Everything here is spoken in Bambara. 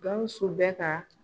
Gawsu bɛ ka